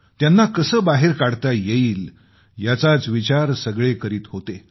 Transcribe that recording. त्यांना कसं बाहेर काढता येईल याचाच विचार सगळे करीत होते